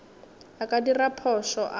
a ka dira phošo a